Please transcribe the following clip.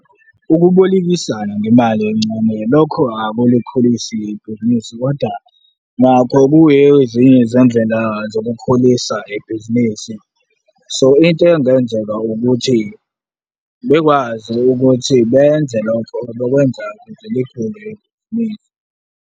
Ukubolekisana ngemali encane lokho akulikhulisi ibhizinisi kodwa nakho kuyiyo ezinye izindlela zokukhulisa ibhizinisi, so into engenzeka ukuthi bekwazi ukuthi benze lokho bekwenzela ukuze likhule ibhizinisi.